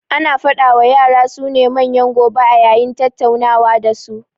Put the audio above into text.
Ana faɗa wa yara su ne manyan gobe a yayin tattaunawa da su